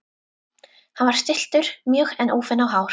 Hann var stilltur mjög en úfinn á hár.